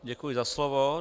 Děkuji za slovo.